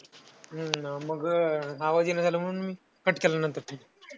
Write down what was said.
हम्म मग आवाज येईना झालं म्हणून मी cut केला नंतर phone.